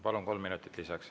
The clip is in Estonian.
Palun, kolm minutit lisaks.